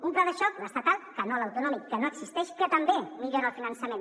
un pla de xoc l’estatal que no l’autonòmic que no existeix que també millora el finançament